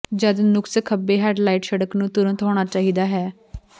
ਜਦ ਨੁਕਸ ਖੱਬੇ ਹੈੱਡਲਾਈਟ ਸੜਕ ਨੂੰ ਤੁਰੰਤ ਹੋਣਾ ਚਾਹੀਦਾ ਹੈ